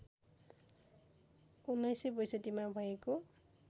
१९६२ मा भएको